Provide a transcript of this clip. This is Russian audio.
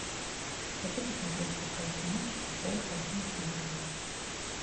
хочу посмотреть передачу матч футбол один на тв